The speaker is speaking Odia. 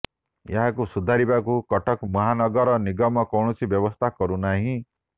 ଏହାକୁ ସୁଧାରିବାକୁ କଟକ ମହାନଗର ନିଗମ କୌଣସି ବ୍ୟବସ୍ଥା କରୁନାହିଁ